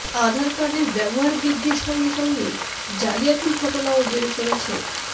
আধার কার্ডের ব্যবহার বৃদ্ধির সঙ্গে সঙ্গে জালিয়াতির ঘটনাও বেড়ে চলেছে